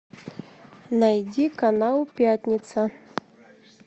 найди канал пятница